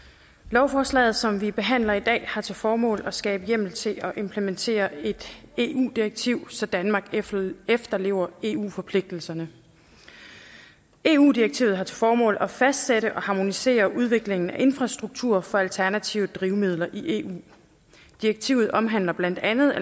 lovforslaget som vi behandler i dag har til formål at skabe hjemmel til at implementere et eu direktiv så danmark efterlever efterlever eu forpligtelserne eu direktivet har til formål at fastsætte og harmonisere udviklingen af infrastruktur for alternative drivmidler i eu direktivet omhandler blandt andet